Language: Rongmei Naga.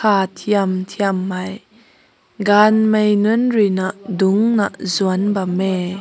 aa tiyam tiyam mai gan mai nun rui na dunk na sünk bam mae.